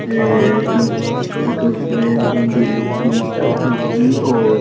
ये इक ईस्टीज का फोटो है। जिसमे न दूल्हे की शादी होगी और --